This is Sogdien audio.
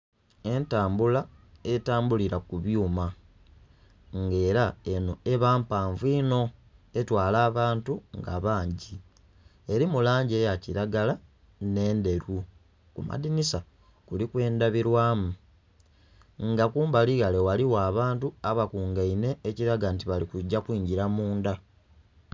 Entambula etambulila ku byuma nga ela enho eba mpanvu inho etwala abantu nga bangi. Elimu langi eya kilagala nh'endheru. Ku madinhisa kuliku endhabilwamu nga kumbali ghale ghaligho abantu abakungainhe ekilaga nti bali kugya kwingila mundha.